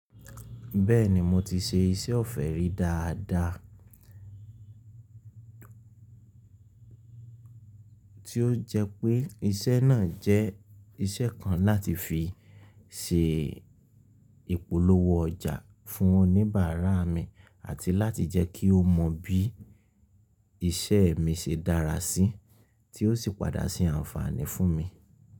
Bẹ́ẹ̀ni mo ti ṣe iṣẹ́ ọ̀fẹ́ rí dáadáa, tí ó jẹ́ pé iṣẹ́ náà jẹ́ iṣẹ́ kan láti fi ṣe ìpolówó ọjà fún oníbàárà mi àti láti jẹ́ kí ó mọ bí iṣẹ́ mi ṣe dára sí, tí ó sì padà sí àǹfààní fún mi.